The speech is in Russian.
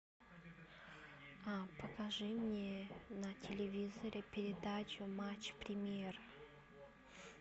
покажи мне на телевизоре передачу матч премьер